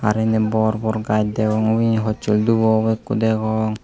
side odi bor bor gaj degong huchel dubo obo ekku degong.